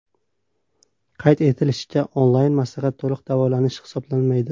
Qayd etilishicha, onlayn maslahat to‘liq davolanish hisoblanmaydi.